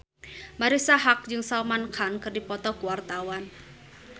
Marisa Haque jeung Salman Khan keur dipoto ku wartawan